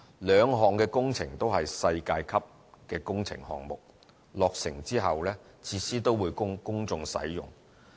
兩項工程都是世界級的工程項目，落成後的設施也會供公眾使用。